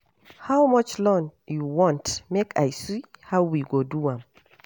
How much loan you want make I see how we go do am